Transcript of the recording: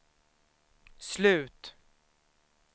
slut